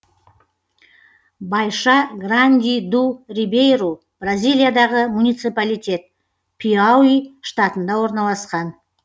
байша гранди ду рибейру бразилиядағы муниципалитет пиауи штатында орналасқан